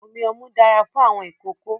Omi ọmú dára fún àwọn ìkókó.